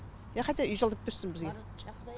иә хотя үй жалдап берсін бізге